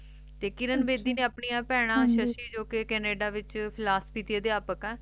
ਤੇ ਕਿਰਨ ਬੇਦੀ ਨੇ ਆਪਣੀਆਂ ਬੇਹਨਾ ਹਾਂਜੀ ਸਸ਼ੀ ਜੱਸੀ ਜੋ ਕ ਕੈਨੇਡਾ ਤੇ flaski ਤੇ ਆਪਿਹਾਡੀਕ ਹੈ